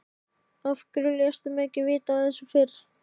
Af hverju léstu mig ekki vita af þessu fyrr?